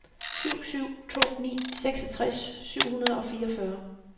syv syv to ni seksogtres syv hundrede og fireogfyrre